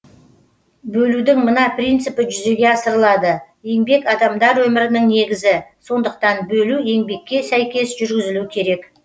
бөлудің мына принципі жүзеге асырылады еңбек адамдар өмірінің негізі сондықтан бөлу еңбекке сәйкес жүргізілу керек